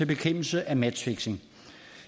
bekæmpelse af matchfixing